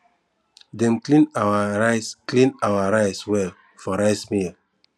dem clean our rice clean our rice well for rice mill